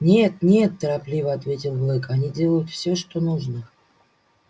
нет нет торопливо ответил блэк они делают всё что нужно